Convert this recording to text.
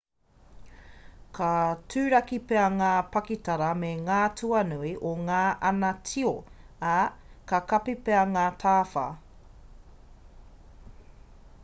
ka turaki pea ngā pakitara me ngā tuanui o ngā ana tio ā ka kapi pea ngā tawhā